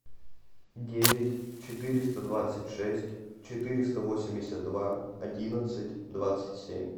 девять четыреста двадцать шесть четыреста восемьдесят два одиннадцать двадцать семь